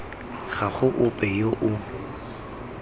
ga go ope yo o